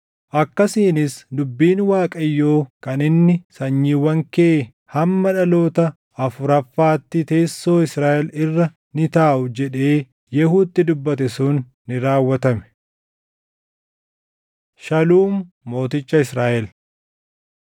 Akkasiinis dubbiin Waaqayyoo kan inni “Sanyiiwwan kee hamma dhaloota Afuraffaatti teessoo Israaʼel irra ni taaʼu” jedhee Yehuutti dubbate sun ni raawwatame. Shaluum Mooticha Israaʼel